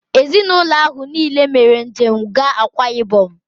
Ezinaụlọ ahụ niile mere njem gaa Akwa ịbọm